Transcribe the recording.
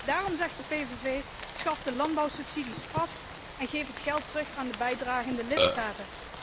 Daarom zegt de PVV schaf de landbouwsubsidies af en geef het geld terug aan de bijdragende lidstaten.